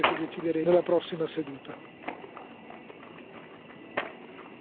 Vi ringrazio lavoriamo per attuare le cose che decideremo nella prossima seduta.